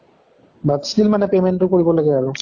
but still মানে payment টো কৰিব লাগে আৰু।